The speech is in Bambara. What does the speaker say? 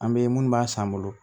An bɛ minnu b'a san an bolo